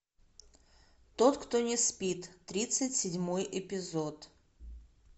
тот кто не спит тридцать седьмой эпизод